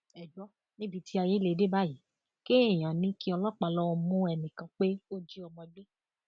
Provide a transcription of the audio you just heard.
ẹ gbọ níbi tí ayé lè dé báyìí kéèyàn ní kí ọlọpàá lọọ mú ẹnìkan pé ó jí ọmọ gbé